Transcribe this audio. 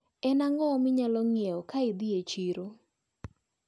En ang`o minyalo nyiewo kaidhi e chiro?